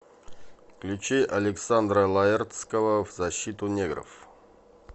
включи александра лаэртского в защиту негров